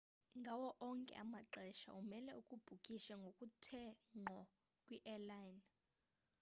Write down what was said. ngawo onke amaxesha umele ubhukishe ngokuthe ngqo kwi-airline